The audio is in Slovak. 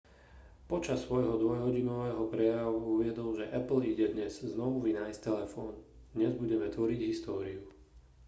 počas svojho dvojhodinového prejavu uviedol že apple ide dnes znovu vynájsť telefón dnes budeme tvoriť históriu